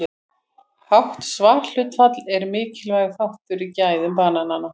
Hátt svarhlutfall er mikilvægur þáttur í gæðum kannana.